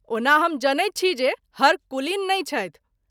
ओना हम जनैत छी जे हर कुलीन नहिं छथि।